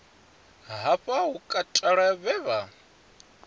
hafha hu katelwa vhe vha